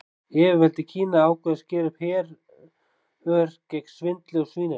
Yfirvöld í Kína ákváðu að skera upp herör gegn svindli og svínaríi.